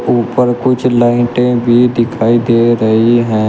ऊपर कुछ लाइटे भी दिखाई दे रही है।